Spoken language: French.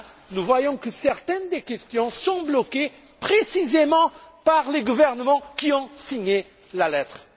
Nous voyons là que certaines des questions sont bloquées précisément par les gouvernements qui ont signé la lettre.